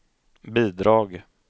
bidrag